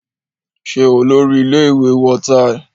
Ṣé Olórí-ile ìwé wọ táì?